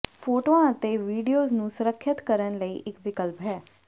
ਫੋਟੋਆਂ ਅਤੇ ਵਿਡੀਓਜ਼ ਨੂੰ ਸੁਰੱਖਿਅਤ ਕਰਨ ਲਈ ਇੱਕ ਵਿਕਲਪ ਹੈ